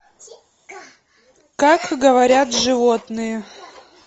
как говорят животные